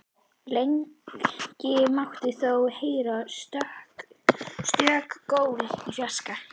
Lengi mátti þó heyra stöku gól í fjarska.